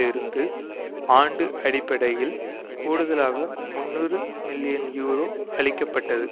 இருந்து ஆண்டு அடிப்படையில் கூடுதலாக முன்னூறு மில்லியன் யூரோ அளிக்க பட்டது